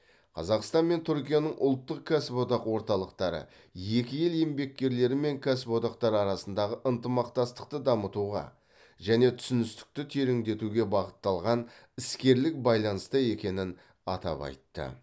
қазақстан мен түркияның ұлттық кәсіподақ орталықтары екі ел еңбеккерлері мен кәсіподақтары арасындағы ынтымақтастықты дамытуға және түсіністікті тереңдетуге бағытталған іскерлік байланыста екенін атап айтты